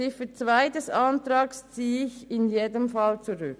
Ziffer 2 des Antrags ziehe ich auf jeden Fall zurück.